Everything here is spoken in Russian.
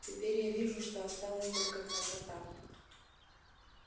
теперь я вижу что осталась только красота